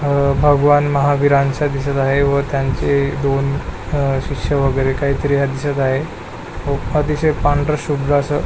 अह भगवान महावीरांच दिसत आहे व त्यांचे दोन शिष्य वगैरे काही तरी दिसत आहे व अतिशय पांढर शुभ्र अस--